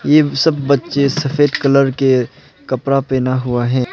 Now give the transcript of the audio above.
ये सब बच्चे सफ़ेद कलर के कपड़ा पहना हुआ है।